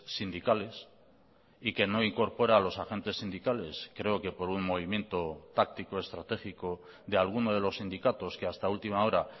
sindicales y que no incorpora a los agentes sindicales creo que por un movimiento táctico estratégico de alguno de los sindicatos que hasta última hora